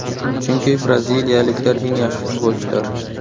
Chunki braziliyaliklar eng yaxshi futbolchilar.